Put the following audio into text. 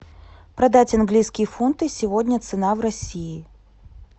продать английские фунты сегодня цена в россии